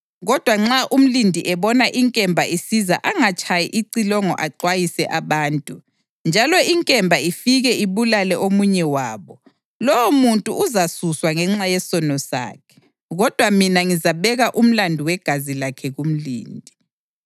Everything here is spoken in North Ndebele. Kodwa nxa umlindi ebona inkemba isiza angatshayi icilongo axwayise abantu, njalo inkemba ifike ibulale omunye wabo, lowomuntu uzasuswa ngenxa yesono sakhe, kodwa mina ngizabeka umlandu wegazi lakhe kumlindi.’